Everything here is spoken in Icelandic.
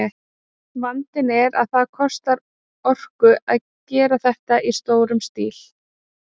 Vandinn er að það kostar orku að gera þetta í stórum stíl.